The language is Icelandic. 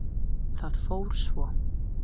Það fór svo.